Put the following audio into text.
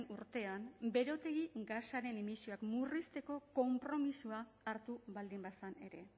urtean berotegi gasaren emisioak murrizteko konpromisoa hartu baldin bazen ere